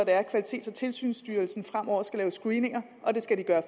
er at kvalitets og tilsynsstyrelsen fremover skal lave screeninger og det skal de